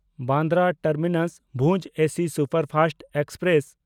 Bandra ᱴᱟᱨᱢᱤᱱᱟᱥ–ᱵᱷᱩᱡᱽ AC superfast express